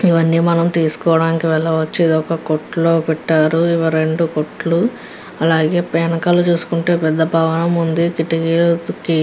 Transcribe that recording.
ఇవని మనం తేసుకోడానికి వెళ్లి వచ్చే ఒక కొట్టు కొట్టు పెట్ట్టారు. పూసలతో కుచారు.